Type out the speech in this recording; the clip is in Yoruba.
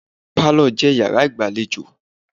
Pálọ̀ je Ìyàrá ìgbàlejò.